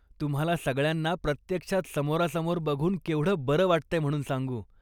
तुम्हाला सगळ्यांना प्रत्यक्षात समोरासमोर बघून केवढं बरं वाटतंय म्हणून सांगू.